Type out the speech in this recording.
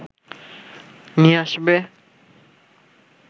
নিয়ে আসবে